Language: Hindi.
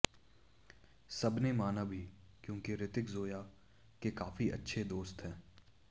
सबने माना भी क्योंकि ऋतिक ज़ोया के काफी अच्छे दोस्त हैं